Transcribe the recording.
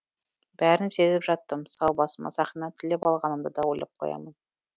бәрін сезіп жаттым сау басыма сақина тілеп алғанымды да ойлап қоямын